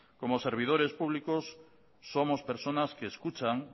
como servidores públicos somos personas que escuchan